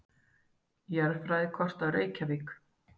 Jarðfræðikort af Reykjavík.